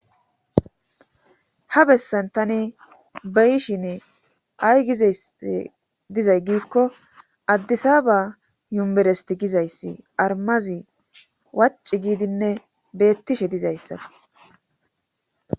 Ha bessan tani bayishin ay gizay dizay giikko addisaba yumberesti gizayssi armazi waci giidinne beettishe dizaysa